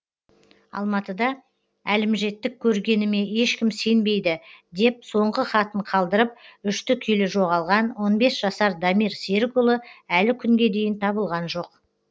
алматыда әлімжеттік көргеніме ешкім сенбейді деп соңғы хатын қалдырып үшті күйлі жоғалған он бес жасар дамир серікұлы әлі күнге дейін табылған жоқ